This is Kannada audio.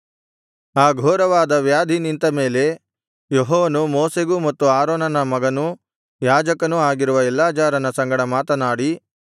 ಆ ಘೋರವಾದ ವ್ಯಾಧಿ ನಿಂತ ಮೇಲೆ ಯೆಹೋವನು ಮೋಶೆಗೂ ಮತ್ತು ಆರೋನನ ಮಗನೂ ಯಾಜಕನೂ ಆಗಿರುವ ಎಲ್ಲಾಜಾರನ ಸಂಗಡ ಮಾತನಾಡಿ